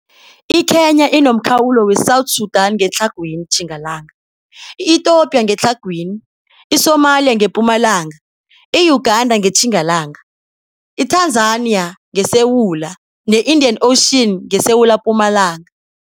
I-Kenya inomkhawulo we-South Sudan ngetlhagwini-Tjingalanga, i-Ethiopia ngetlhagwini, i-Somalia ngepumalanga, i-Uganda ngeTjingalanga, i-Tanzania ngesewula, ne-Indian Ocean ngesewulapumalanga.